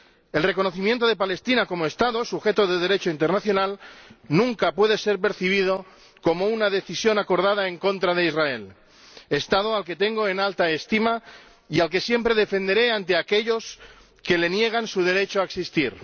El reconocimiento de Palestina como Estado, sujeto de Derecho internacional, nunca puede ser percibido como una decisión acordada en contra de Israel, Estado al que tengo en alta estima y al que siempre defenderé ante aquellos que le niegan su derecho a existir.